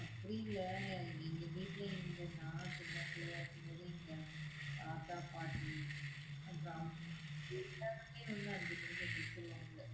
அப்படியில்ல எங்க வீட்டுல இங்க நா சின்னபிள்ளயா இருக்கும்போதே தாத்தா பாட்டி அப்புறம் எல்லாருமே வந்து அஞ்சு மணிக்கு எந்திரிச்சுருவாங்க.